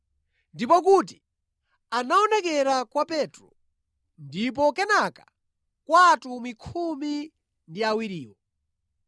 ndipo kuti anaonekera kwa Petro, ndipo kenaka kwa Atumwi khumi ndi awiriwo.